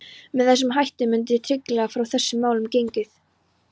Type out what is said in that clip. Með þessum hætti mundi tryggilega frá þessum málum gengið.